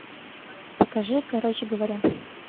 покажи короче говоря